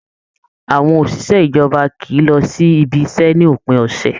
Àwọn òṣìṣẹ́ ìjọba kìí lọ sí ibiṣẹ́ ní òpin ọ̀sẹ̀